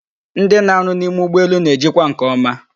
Ndị na-arụ n'ime ụgbọelu na-ejikwa nke ọma